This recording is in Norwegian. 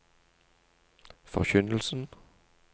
forkynnelsen